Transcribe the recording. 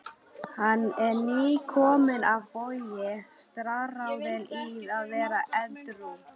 Hann er nýkominn af Vogi, staðráðinn í að vera edrú.